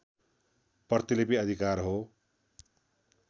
प्रतिलिपि अधिकार हो